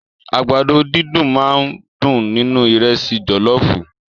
Àgbàdo dídùn máà ń dùn nínú ìrẹ́sì jọlọọfu.